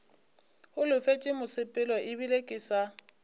holofetše mosepelo ebile ke sa